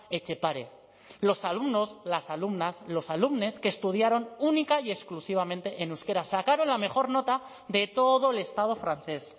etxepare los alumnos las alumnas los alumnes que estudiaron única y exclusivamente en euskera sacaron la mejor nota de todo el estado francés